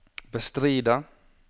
bestride